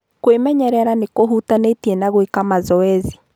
kwĩmenyerera nĩ kũhutanĩtie na gwĩka mazoezi.